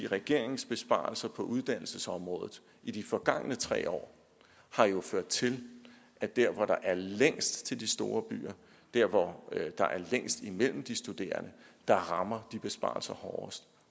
regeringens besparelser på uddannelsesområdet i de forgangne tre år har jo ført til at der hvor der er længst til de store byer og der hvor der er længst imellem de studerende rammer de besparelser hårdest